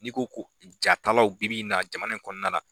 N'i ko ko jatalaw bibi in na jamana in kɔnɔna na